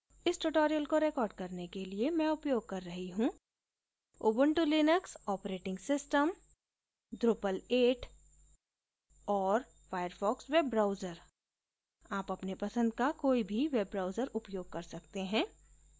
इस tutorial को record करने के लिए मैं उपयोग कर रही हूँ Ubuntu Linux operating system drupal 8 और firefox वेब ब्राउजर आप अपने पसंद का कोई भी वेब ब्राउजर उपयोग कर सकते हैं